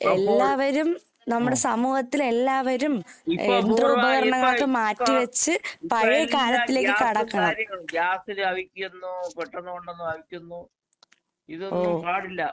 അപ്പോൾ അഹ് ഇപ്പ പൂർവ്വ ഇപ്പ ഇപ്പയെല്ലാ ഗ്യാസും കാര്യങ്ങളും ഗ്യാസിലവിക്കുന്നു പെട്ടെന്ന് കൊണ്ടുവന്നവിക്കുന്നു, ഇതൊന്നും പാടില്ല.